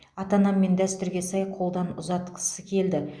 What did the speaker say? ата анам мені дәстүрге сай қолдан ұзатқысы келді